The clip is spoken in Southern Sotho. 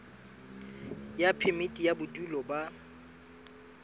ya phemiti ya bodulo ba